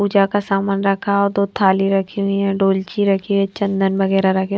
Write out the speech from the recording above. पूजा का सामान रखा और दो थाली रखी हुई है डोलची रखी है चंदन वगैरह रखी --